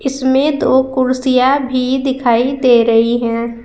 इसमें दो कुर्सियां भी दिखाई दे रही हैं।